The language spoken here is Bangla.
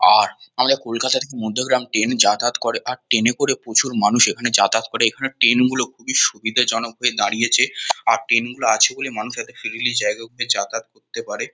আর আমরা কলকাতার মধ্যমগ্রাম ট্রেন -এ যাতায়াত করে। আর ট্রেন -এ করে প্রচুর মানুষ এখানে যাতায়াত করে। এখানে ট্রেন -গুলি খুবই সুবিধেজনক হয়ে দাঁড়িয়েছে । আর ট্রেন -গুলো আছে বলে মানুষ এতো ফ্রীলি জায়গাগুলোয় যাতায়াত করতে পারে ।